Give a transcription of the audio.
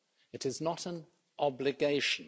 It is not an obligation.